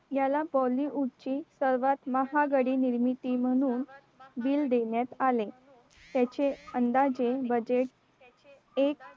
याला bollywood ची सर्वात महागडी निर्मिती म्हणून bill देण्यात आले त्याचे अंदाजे बजेट एक